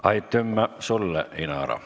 Aitümä sulle, Inara!